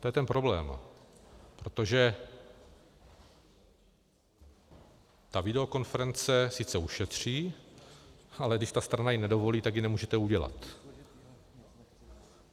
To je ten problém, protože ta videokonference sice ušetří, ale když ta strana ji nedovolí, tak ji nemůžete udělat.